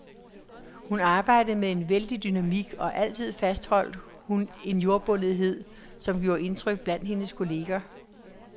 Hun arbejdede med en vældig dynamik, og altid fastholdt hun en jordbundethed, som gjorde indtryk blandt hendes kolleger.